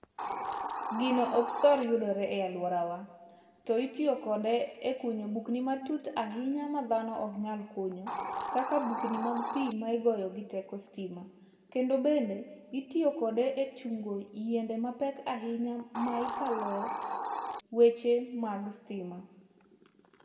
Gino ok thor yudore e aluorawa, to itiyo kode ekunyo bugni matut ahinya ma dhano ok nyal kunyo, kaka bukni mag pi ma igoyo gi teko sitima. Kendo bende itiyo kode e chungo yiende mapek ahinya ma ikaloe weche mag sitima.